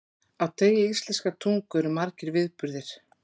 Á degi íslenskrar tungu eru margir viðburðir.